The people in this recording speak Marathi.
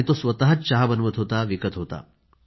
तो स्वतःच चहा बनवत होता आणि विकत होता